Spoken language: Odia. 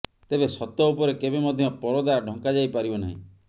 ତେବେ ସତ ଉପରେ କେବେ ମଧ୍ୟ ପରଦା ଢଙ୍କା ଯାଇ ପାରିବ ନାହିଁ